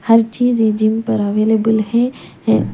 हर चीज ये जिम पर अवेलेबल है हे --